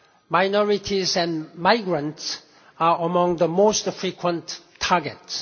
Minorities and migrants are among the most frequent targets.